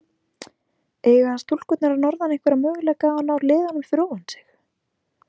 Eiga stúlkurnar að norðan einhverja möguleika á að ná liðunum fyrir ofan sig?